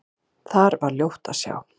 Þar var ljótt að sjá.